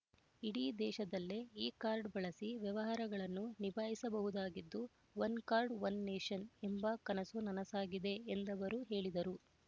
ಇಡೀ ದೇಶದಲ್ಲೇ ಈ ಕಾರ್ಡ್ ಬಳಸಿ ವ್ಯವಹಾರಗಳನ್ನು ನಿಭಾಯಿಸಬಹುದಾಗಿದ್ದು ಒನ್ ಕಾರ್ಡ್ ಒನ್ ನೇಷನ್ ಎಂಬ ಕನಸು ನನಸಾಗಿದೆ ಎಂದವರು ಹೇಳಿದರು